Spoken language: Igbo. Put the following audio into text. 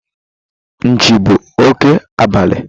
Nchi bụ òké abalị